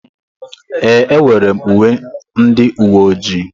Ee, enwere m uwe ndị uwe ojii.